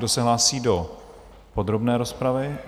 Kdo se hlásí do podrobné rozpravy?